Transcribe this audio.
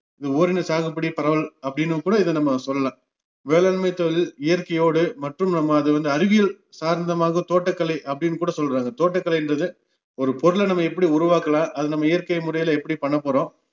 இத ஓரின சாகுபடி பரவல் அப்படின்னும் கூட நம்ம இதை சொல்லலாம் வேளாண்மைதொழில் இயற்கையோடு மற்றும் நம்ம அது வந்து அறிவியல் சார்ந்தமாக தோட்டக்கலை அப்படின்னுகூட சொல்றாங்க தோட்டக்கலைன்றது ஒரு பொருளை நம்ம எப்படி உருவாக்கலாம் அது நம்ம இயற்கைமுறையில எப்படி பண்ணபோறோம்